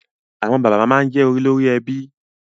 Àwọn bàbá máa jẹ olórí ẹbí